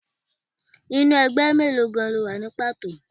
Inú ẹgbẹ́ mélòó gan-an ni o wà ní pàtó?